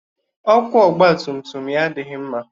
Ọkụ ọgba tum tum ya adịghị mma.